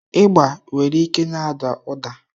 Ịgba nwere ike na-ada ụda.